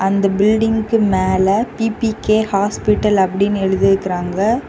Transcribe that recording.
அந்த பில்டிங்க்கு மேல பி_பி_கே ஹாஸ்பிடல் அப்டின்னு எழுதியிருக்காங்க.